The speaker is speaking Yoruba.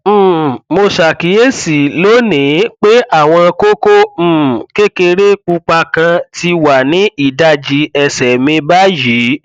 um mo ṣàkíyèsí lónìí pé àwọn kókó um kékeré pupa kan ti wà ní ìdajì ẹsẹ mi báyìí